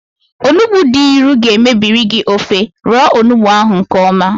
Onugbu dị ịnụ ga mebiri gị ofe, roo onugbu ahụ nkeọma